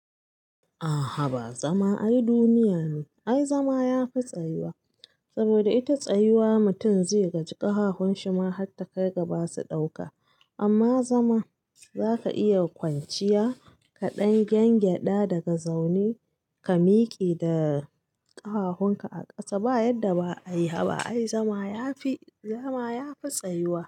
A'a haba zama ai duniya ne, ai zama ya fi tsayuwa saboda ita tsayuwa mutum zai gaji ƙahahun shi ma har ta kai gaba su ɗauka amma zama zaka iya kwanciya, kaɗan gyan gyada daga zauni ka miƙe da ƙahahun ka a ƙasa ba yadda ba a yi haba ai zama yafi zama ya fi tsayuwa.